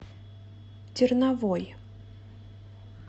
терновой